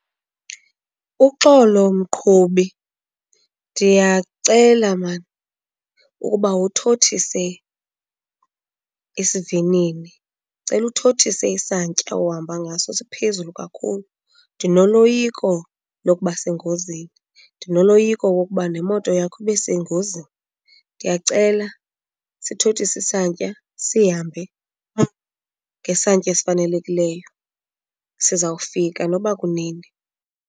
Uxolo mqhubi, ndiyacela mani ukuba uthothise isivinini. Ndicela uthothise isantya ohamba ngaso siphezulu kakhulu, ndinoloyiko lokuba sengozini, ndinoloyiko lokuba nemoto yakho ibe sengozini. Ndiyacela sithothise isantya sihambe ngesantya esifanelekileyo, sizawufika nokuba kunini.